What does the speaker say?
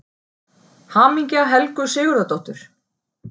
HAMINGJA HELGU SIGURÐARDÓTTUR